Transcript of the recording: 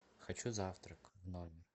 хочу завтрак в номер